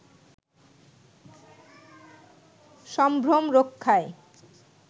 সম্ভ্রম রক্ষায়